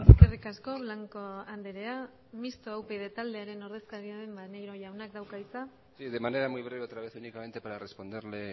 eskerrik asko blanco andrea mixto upyd taldearen ordezkaria den maneiro jaunak dauka hitza sí de manera muy breve otra vez y únicamente para responderle